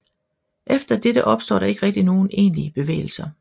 Efter dette opstår der ikke rigtig nogen egentlige bevægelser